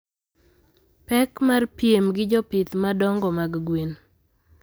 Pek mar piem gi jopith madongo mag gwen